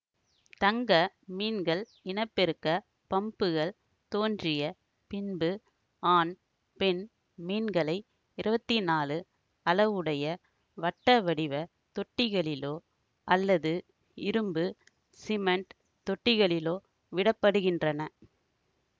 தங்க மீன்கள் இனப்பெருக்கப் பம்புகள் தோன்றிய பின்பு ஆண் பெண் மீன்களை இருவத்தி நாலு அளவுடைய வட்டவடிவ தொட்டிகளிலோ அல்லது இரும்பு சிமெண்ட் தொட்டிகளிலோ விடப்படுகின்றன